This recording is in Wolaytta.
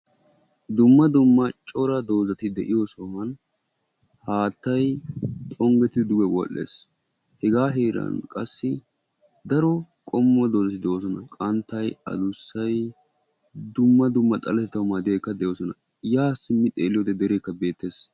Dumma dumma cora doozati de'iyo sohuwan haattay xongettidi duge wodhdhes; hegaa heran qassi daro qommo doozati de'oosona qanttay, adussay, dumma dumma xaletetaw maddiyagetikka doosona; yaa simmi xeelliyode dereeka beettes.